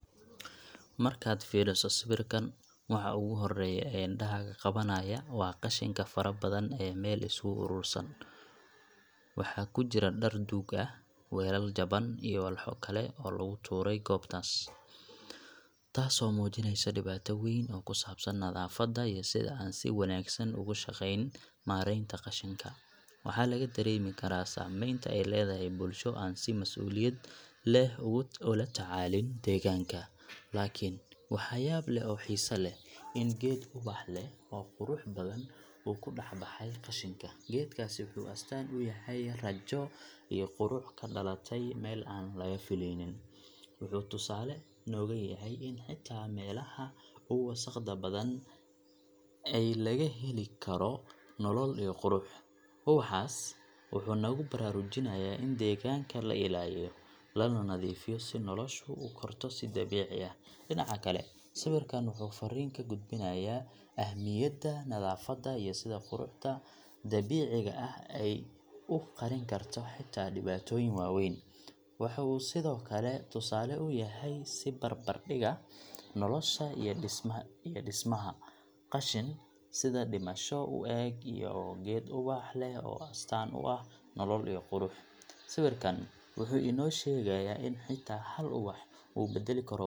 Markaad fiiriso sawirkan, waxa ugu horreeya ee indhahaaga qabanaya waa qashinka fara badan ee meel isugu uruursan. Waxaa ku jira dhar duug ah, weelal jaban, iyo walxo kale oo lagu tuuray goobtaas, taasoo muujinaysa dhibaato weyn oo ku saabsan nadaafadda iyo sida aan si wanaagsan ugu shaqayn maaraynta qashinka. Waxaa laga dareemi karaa saamaynta ay leedahay bulsho aan si mas’uuliyad leh ula tacaalin deegaanka. Laakiin waxa yaab leh oo xiise leh waa in geed ubax leh oo qurux badan uu ku dhex baxay qashinka. Geedkaasi wuxuu astaan u yahay rajo iyo qurux ka dhalatay meel aan laga filaynin. Wuxuu tusaale nooga yahay in xitaa meelaha ugu wasakhda badan ay laga heli karo nolol iyo qurux. Ubaxaas wuxuu nagu baraarujinayaa in deegaanka la ilaaliyo, lana nadiifiyo si noloshu u korto si dabiici ah. Dhinaca kale, sawirkan wuxuu farriin ka gudbinayaa ahmiyadda nadaafadda iyo sida quruxda dabiiciga ah ay u qarin karto xitaa dhibaatooyin waaweyn. Waxuu sidoo kale tusaale u yahay is barbar dhigga nolosha iyo dhismaha – qashin sida dhimasho u eg iyo geed ubax leh oo astaan u ah nolol iyo qurux. Sawirkan wuxuu inoo sheegayaa in xitaa hal ubax uu beddeli karo.